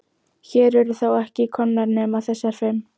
Hér eru þó ekki komnar nema þessar fimm.